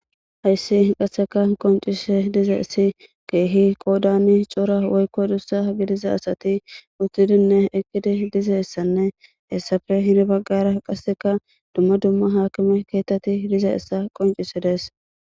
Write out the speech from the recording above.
Ha issi qassikka qonchissada de'iza issi keehi qoodani cora woyko daro asati uttidinne eqqida de'iza issanne, hayssappee hara baggara qassikka dumma dumma hakime keeththathi de'izayssa qonchissa de'ees.